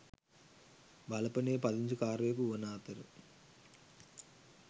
වලපනේ පදිංචිකාරයකු වන අතර